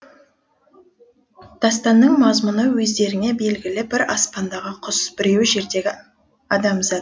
дастанның мазмұны өздеріңе белгілі бір аспандағы құс біреуі жердегі адамзат